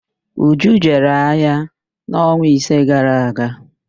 Uju jere ahịa n'ọnwa ise gara aga.